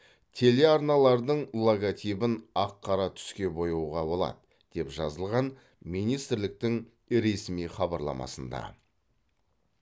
телеарналардың логотипін ақ қара түске бояуға болады деп жазылған министрліктің ресми хабарламасында